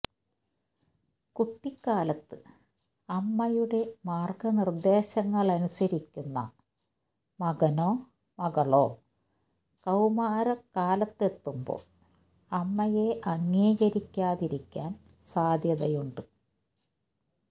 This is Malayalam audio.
കുട്ടിക്കാലത്ത് അമ്മയുടെ മാർഗനിർദേശങ്ങളനുസരിക്കുന്ന മകനോ മകളോ കൌമാര കാലത്തെത്തുമ്പോൾ അമ്മയെ അംഗീകരിക്കാതിരിക്കാൻ സാദ്ധ്യതയുണ്ട്